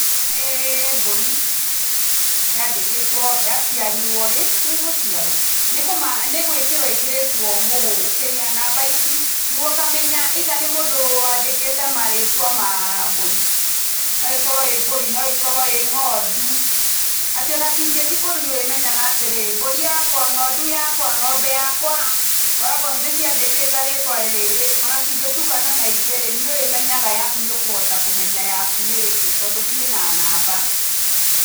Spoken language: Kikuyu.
Nĩ mbũri, yandĩkĩtwo yaciarirwo rĩ, nĩgũciarwo? Nĩgwĩkĩrwo ĩkĩrĩtwo kĩrĩa, namba ici, Nĩguo ũkamenya either nĩ mũndũ wandĩkĩte marĩtwa ma mbũri. No ĩkorwo ĩ mburi, no ĩkorwo ĩ ng'ondu, atĩ ona cingĩthii kũndũ nĩũrĩmenyaga atĩrĩrĩ, mbũri yakwa, ng'ondu yakwa, ng'ombe yakwa, ngoragwo ndĩciandĩkĩte rĩtwa rĩrĩ. Ona cingĩtukana na ingĩ-rĩ, nĩũrĩmenyaga yaku nĩũkũhota kũmenya yaku nĩ ĩrĩkũ tondũ ciĩna namba.